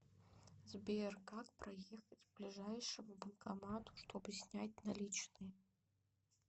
сбер как проехать к ближайшему банкомату чтобы снять наличные